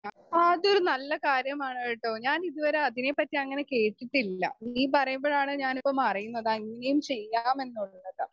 Speaker 2 ആഹ് അത് നല്ല കാര്യമാണ് കേട്ടോ ഞാൻ ഇതുവരെ അതിനെപ്പറ്റി അങ്ങനെ കേട്ടിട്ടില്ല. നീ പറയുമ്പോഴാണ് ഞാനിപ്പം അറിയുന്നത് അങ്ങനേം ചെയ്യാമെന്നുള്ളത്